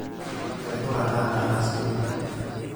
Kairura taata asioki.